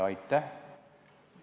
Aitäh!